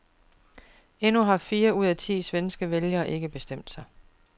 Endnu har fire ud af ti svenske vælgere ikke bestemt sig.